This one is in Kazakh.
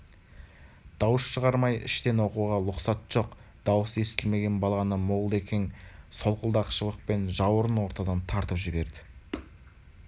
дауыс шығармай іштен оқуға лұқсат жоқ даусы естілмеген баланы молда-екен солқылдақ шыбықпен жаурын ортадан тартып жібереді